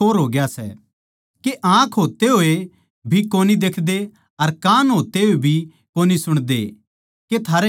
के आँख होते होये भी कोनी देखदे अर कान होते होये भी कोनी सुणदे के थारै याद कोनी